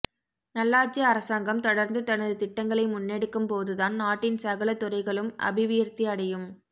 நல்லாட்சி அரசாங்கம் தொடர்ந்து தனது திட்டங்களை முன்னெடுக்கும் போதுதான் நாட்டின் சகல துறைகளும் அபிவியாத்தியடையும்